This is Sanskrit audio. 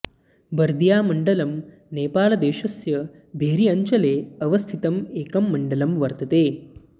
बर्दियामण्डलम् नेपालदेशस्य भेरी अञ्चले अवस्थितं एकं मण्डलं वर्तते